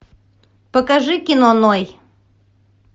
покажи кино ной